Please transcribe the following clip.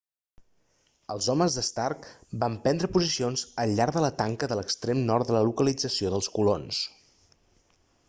els homes d'stark van prendre posicions al llarg de la tanca de l'extrem nord de la localització dels colons